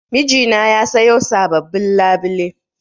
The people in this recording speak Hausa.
Mijina ya sayo sabobbin labule.